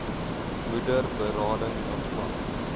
moeder berading ontvang